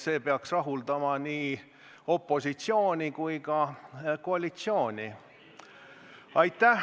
See peaks rahuldama nii opositsiooni kui ka koalitsiooni.